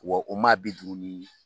Wa u maa bi duuru ni